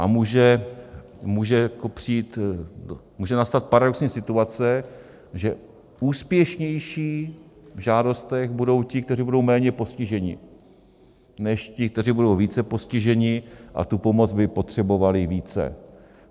A může nastat paradoxní situace, že úspěšnější v žádostech budou ti, kteří budou méně postiženi, než ti, kteří budou více postiženi a tu pomoc by potřebovali více.